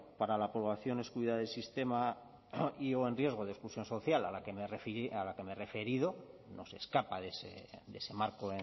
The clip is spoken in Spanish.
para la población excluida del sistema y o en riesgo de exclusión social a la que me he referido no se escapa de ese marco